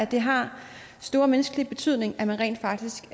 det har stor menneskelig betydning at man rent faktisk